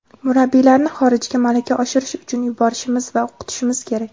Murabbiylarni xorijga malaka oshirish uchun yuborishimiz va o‘qitishimiz kerak.